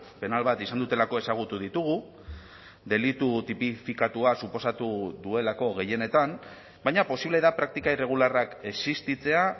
penal bat izan dutelako ezagutu ditugu delitu tipifikatua suposatu duelako gehienetan baina posible da praktika irregularrak existitzea